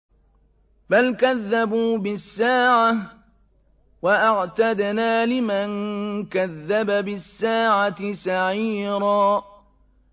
بَلْ كَذَّبُوا بِالسَّاعَةِ ۖ وَأَعْتَدْنَا لِمَن كَذَّبَ بِالسَّاعَةِ سَعِيرًا